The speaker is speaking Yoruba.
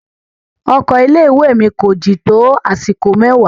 Ọkọ ilé ìwé mi ko jin to àsìkò mẹwa.